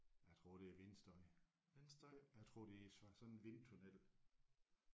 Jeg tror det er vindstøj. Jeg tror det er sådan en vindtunnel